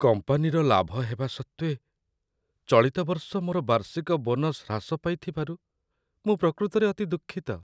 କମ୍ପାନୀର ଲାଭ ହେବା ସତ୍ତ୍ୱେ, ଚଳିତ ବର୍ଷ ମୋର ବାର୍ଷିକ ବୋନସ୍ ହ୍ରାସ ପାଇଥିବାରୁ ମୁଁ ପ୍ରକୃତରେ ଅତି ଦୁଃଖିତ।